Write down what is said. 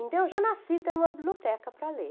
Então, eu já nasci tendo uma biblioteca para ler.